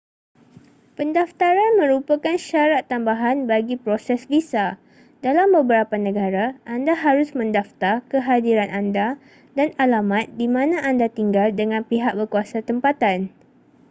pendaftaran merupakan syarat tambahan bagi proses visa dalam beberapa negara anda harus mendaftar kehadiran anda dan alamat di mana anda tinggal dengan pihak berkuasa tempatan